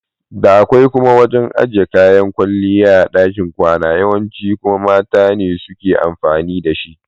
Da akwai kuma wajan ajiye kayan kwalliya a ɗakin kwana yawanci kuma mata ne suke amfani da shi.